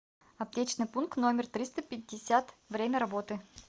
аптечный пункт номер триста пятьдесят время работы